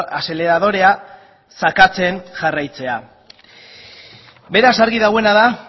azeleradorea sakatzen jarraitzea beraz argi dagoena